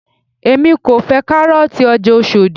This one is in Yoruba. èmi kò fẹ́ kárọ̀ọ̀tì ọjà Oshodi